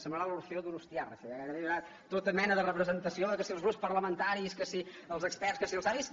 semblarà l’orfeó donostiarra això gairebé hi haurà tota mena de representació que si els grups parlamentaris que si els experts que si els savis